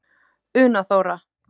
Una Þóra.